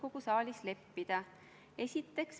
Austatud istungi juhataja!